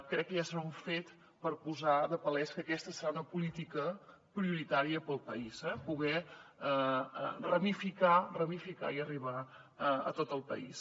crec que aquest ja serà un fet per fer palès que aquesta serà una política prioritària per al país eh poder ramificar ramificar i arribar a tot el país